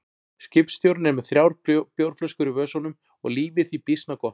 Skipstjórinn er með þrjár bjórflöskur í vösunum og lífið því býsna gott.